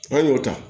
N'an y'o ta